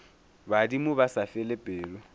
badimo ba sa fele pelo